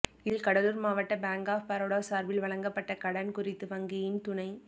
இதில் கடலுார் மாவட்ட bank of Baroda சார்பில் வழங்கப்பட்ட கடன் குறித்து வங்கியின் துணை